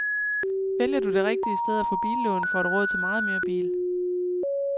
Vælger du det rigtige sted at få billån, får du råd til meget mere bil.